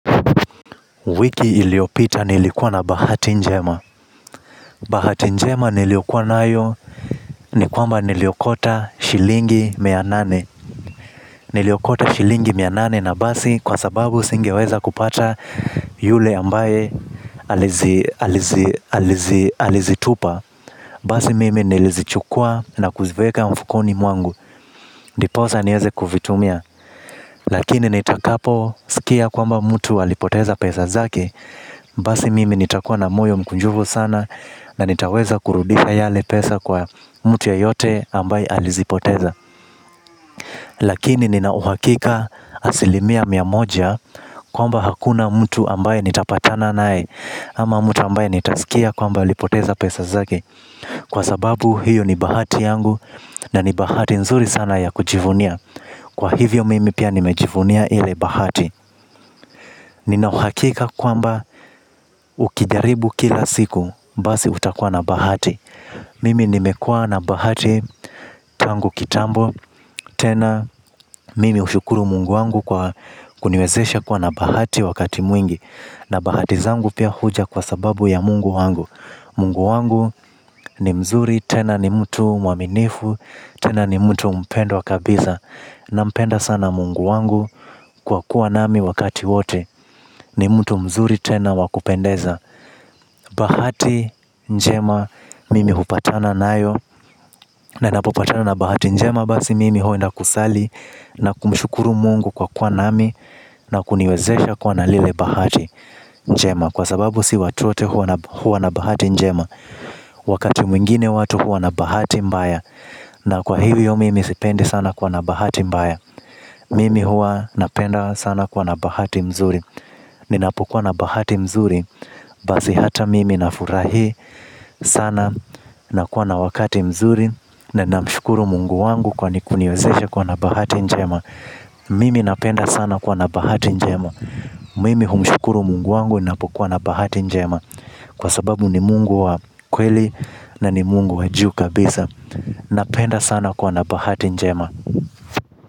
Wiki iliopita nilikuwa na bahati njema. Bahati njema niliokuwa nayo ni kwamba niliokota shilingi mia nane niliokota shilingi mia nane na basi singeweza kupata yule ambaye alizitupa. Basi mimi nilizichukua na kuziveka mfukoni mwangu. Ndiposa nieze kuvitumia. Lakini nitakapo sikia kwamba mtu alipoteza pesa zake. Basi mimi nitakuwa na moyo mkunjufu sana. Na nitaweza kurudisha yale pesa kwa mtu yoyote ambaye alizipoteza. Lakini ninauhakika asilimia mia moja kwamba hakuna mtu ambaye nitapatana naye ama mtu ambaye nitasikia kwamba alipoteza pesa zake kwa sababu hiyo ni bahati yangu na ni bahati nzuri sana ya kujivunia kwa hivyo mimi pia nimejivunia ile bahati. Ninauhakika kwamba ukidjaribu kila siku basi utakua na bahati. Mimi nimekua na bahati tangu kitambo. Tena mimi hushukuru mungu wangu kwa kuniwezesha kuwa na bahati wakati mwingi. Na bahati zangu pia huja kwa sababu ya mungu wangu Mungu wangu ni mzuri. Tena ni mtu mwaminifu. Tena ni mtu mpendo wakabiza. Na mpenda sana mungu wangu. Kwa kuwa nami wakati wote. Ni mtu mzuri tena wakupendeza. Bahati njema. Mimi hupatana na yo. Na inapopatana na bahati njema basi mimi huwa naenda kusali. Na kumshukuru mungu kwa kuwa nami. Na kuniwezesha kwa na lile bahati njema. Kwa sababu si watu wote huwa na bahati njema. Wakati mwingine watu huwa na bahati mbaya. Na kwa hiyo mimi sipendi sana kuwa na bahati mbaya. Mimi hua napenda sana kwa na bahati mzuri. Ninapokuwa na bahati mzuri basi hata mimi nafurahi sana. Na kuwa na wakati mzuri. Na na mshukuru mungu wangu kwani kuniozesha kwa na bahati njema. Mimi napenda sana kuwa na bahati njema. Mimi humshukuru mungu wangu napo kuwa na bahati njema. Kwa sababu ni mungu wa kweli na ni mungu wa juu kabisa. Napenda sana kwa na bahati njema.